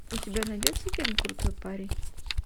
у тебя найдется фильм крутой парень